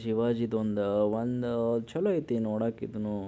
ಶಿವಾಜಿದೊಂದು ಒಂದು ಚಲೋ ಐತೆ ನೋಡಾಕ್ ಇದನ್ನು.